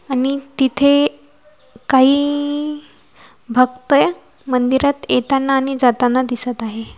आणि तिथे काही भक्त मंदिरात येताना आणि जाताना दिसत आहे.